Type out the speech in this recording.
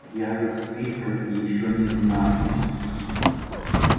я же в списках ещё не значусь